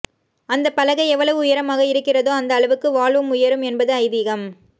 அந்த பலகை எவ்வளவு உயரமாக இருக்கிறதோ அந்த அளவுக்கு வாழ்வும் உயரும் என்பது ஐதீகம்